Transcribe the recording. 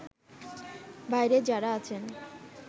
বাইরে যারা আছেন